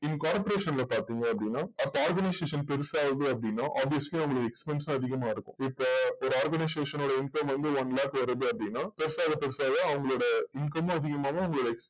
இந்த corporation ல பாத்திங்க அப்டின்ன அப்போ organization பெருசாகுது அப்டின்ன obviously அவங்களோட expense அதிகமா இருக்கும் இப்போ ஒரு organization ஓட income வந்து one lakh வருது அப்டின்ன பெருசாக பெருசாக அவங்களோட income மும் அதிகமாகும் அவங்களோட